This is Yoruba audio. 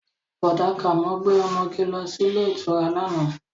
Bọ̀dá Kàmọ́ gbé ọmọge lọ sí ilé ìtura lánàá